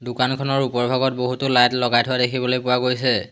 দোকানখনৰ ওপৰভাগত বহুতো লাইট লগাই থোৱা দেখিবলৈ পোৱা গৈছে।